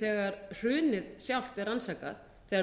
þegar hrunið sjálft er rannsakað þegar